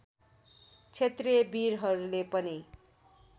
क्षेत्रिय वीरहरूले पनि